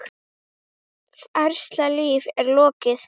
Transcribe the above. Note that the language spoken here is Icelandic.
Farsælu lífi er lokið.